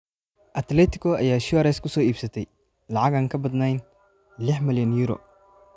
Atletico ayaa Suarez ku soo iibsatay lacag aan ka badnayn lix milyan euro.